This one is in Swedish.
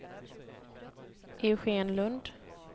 Eugén Lundh